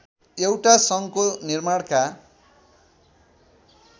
एउटा सङ्घको निर्माणका